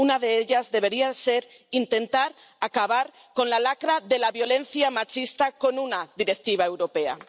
Una de ellas, debería ser intentar acabar con la lacra de la violencia machista con una directiva europea.